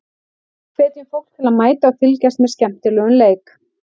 Hvetjum fólk til að mæta og fylgjast með skemmtilegum leik.